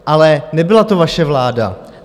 Ale nebyla to vaše vláda.